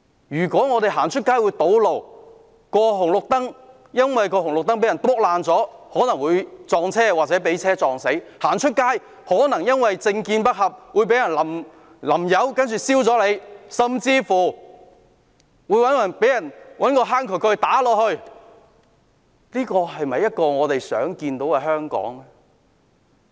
如果我們外出會遇上堵路，會因為紅綠燈遭人破壞而遇上車禍死亡，會因為政見不合而遭人淋油或放火燒，甚至被人用渠蓋敲打，這是我們樂見的香港嗎？